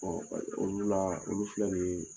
olu la olu filɛ nin ye,